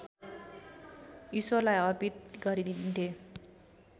ईश्वरलाई अर्पित गरिदिन्थे